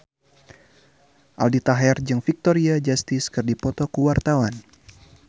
Aldi Taher jeung Victoria Justice keur dipoto ku wartawan